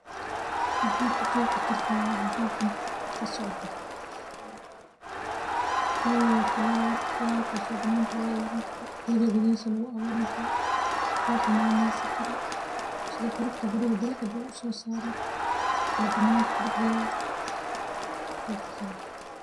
Maxa ku qexi kartaa waxa halkan ka socda maxa weye flower flawarkas oo quriga dexdisa ama lagu xananesan karo si bilicda guriga uso saroo kuqexi karaa.